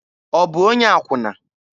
Ọ bụ onye akwụna?